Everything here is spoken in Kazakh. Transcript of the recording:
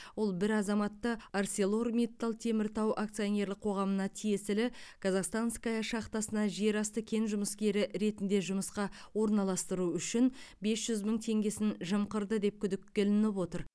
ол бір азаматты арселор миттал теміртау акционерлік қоғамына тиесілі казахстанская шахтасына жерасты кен жұмыскері ретінде жұмысқа орналастыру үшін бес жүз мың теңгесін жымқырды деп күдікке ілініп отыр